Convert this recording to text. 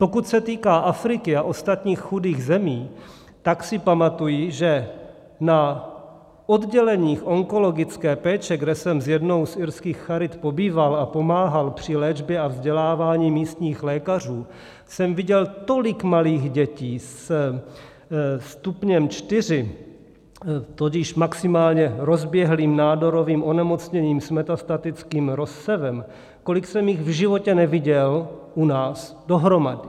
Pokud se týká Afriky a ostatních chudých zemí, tak si pamatuji, že na odděleních onkologické péče, kde jsem s jednou z irských charit pobýval a pomáhal při léčbě a vzdělávání místních lékařů, jsem viděl tolik malých dětí se stupněm čtyři, tudíž maximálně rozběhlým nádorovým onemocněním s metastatickým rozsevem, kolik jsem jich v životě neviděl u nás dohromady.